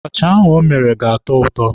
Abacha o mere ga-atọ ụtọ.